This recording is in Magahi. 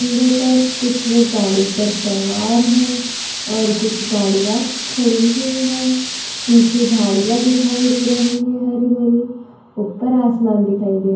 पर कुछ लोग गाड़ी पर सवार हैं और कुछ गाड़ियाँ खड़ी हुई हैं । पीछे झाड़ियाँ दिखाई दे रही है हरि भरी | उपर आसमान दिखाई दे रहा है।